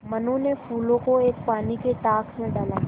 मनु ने फूलों को एक पानी के टांक मे डाला